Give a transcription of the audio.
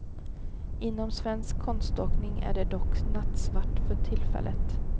Inom svensk konståkning är det dock nattsvart för tillfället.